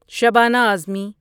Shabana Uzma